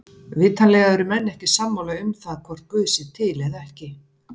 Vitanlega eru menn ekki sammála um það hvort guð sé til eða ekki.